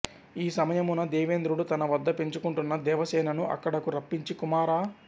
ఈ సమయమున దేవేంద్రుడు తన వద్ద పెంచుకుంటున్న దేవసేనను అక్కడకు రప్పించి కుమారా